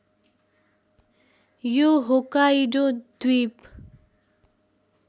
यो होक्काइडो द्वीप